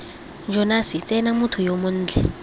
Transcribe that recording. jonase tsena motho yo montle